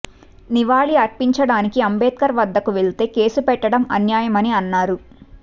నివాళి అర్పించడానికి అంబేద్కర్ వద్దకు వెళ్తే కేసు పెట్టడం అన్యాయమని అన్నారు